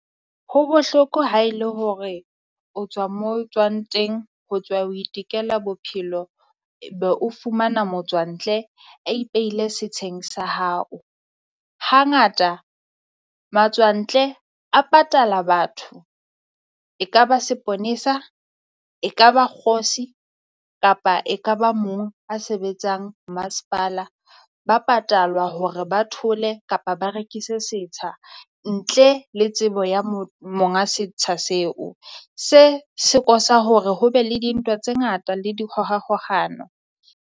Ho bohloko ha e le hore o tswa mo tswang teng ho tswa ho itekela bophelo. Be o fumana motswantle a ipeile setsheng sa hao, hangata matswantle a patala batho. Ekaba seponesa, ekaba kgosi kapa ekaba mong a sebetsang masepala, ba patalwa hore ba thole kapa ba rekise setsha ntle le tsebo ya mo monga setsha seo se cause-a hore ho be le dintwa tse ngata le dikgohakgohano.